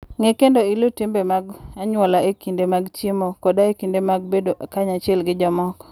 Ng'e kendo iluw timbe mag anyuola e kinde mag chiemo koda e kinde mag bedo kanyachiel gi jomoko.